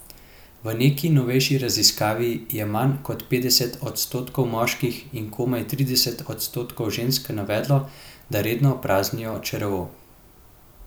V neki novejši raziskavi je manj kot petdeset odstotkov moških in komaj trideset odstotkov žensk navedlo, da redno praznijo črevo.